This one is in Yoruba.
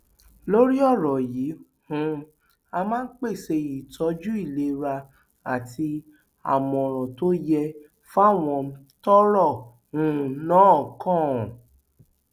lórí ọrọ yìí um á máa pèsè ìtọjú ìlera àti àmọràn tó yẹ fáwọn tọrọ um náà kàn